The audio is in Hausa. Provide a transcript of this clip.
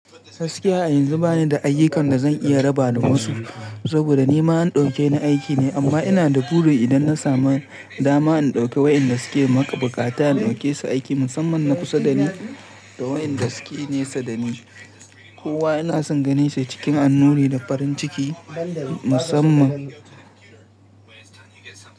Gaskiya a yanzu ba ni da ayyukan da zan iya raba da wasu saboda ni ma an ɗauke ni aiki ne amma ina da buri idan na samu dama in ɗauki wa'inda suke buƙata in ɗauke su aiki musamman na kusa da ni da wa'inda suke nesa da ni. Kowa ina son ganin shi cikin annuri da farin ciki musamman.